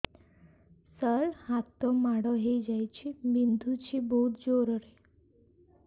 ସାର ହାତ ମାଡ଼ ହେଇଯାଇଛି ବିନ୍ଧୁଛି ବହୁତ ଜୋରରେ